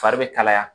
Fari bɛ kalaya